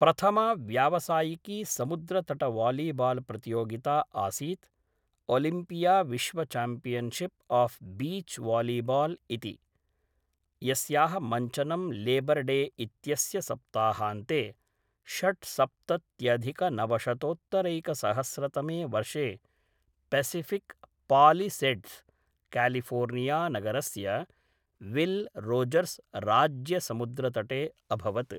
प्रथमा व्यावसायिकी समुद्रतटवालीबाल्प्रतियोगिता आसीत् ओलिम्पियाविश्वचाम्पियन्शिप् आफ् बीच् वालीबाल् इति, यस्याः मञ्चनं लेबर् डे इत्यस्य सप्ताहान्ते, षड्सप्तत्यधिकनवशतोत्तरैकसहस्रतमे वर्षे, पेसिफिक् पालिसेड्स्, क्यालिफोर्नियानगरस्य विल् रोजर्स् राज्यसमुद्रतटे अभवत्।